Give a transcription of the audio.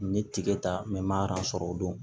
N ye tigɛ ta n ma sɔrɔ o don